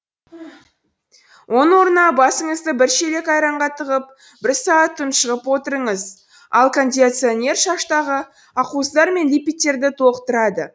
оның орнына басыңызды бір шелек айранға тығып бір сағат тұншығып отырыңыз ал кондиционер шаштағы ақуыздар мен липидтерді толықтырады